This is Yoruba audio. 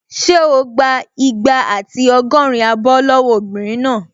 Ṣé o gbà igba àti ọgọ́rin abọ́ lọ́wọ́ obìnrin náà?